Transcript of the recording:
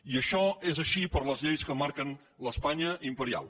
i això és així per les lleis que marquen l’espanya imperial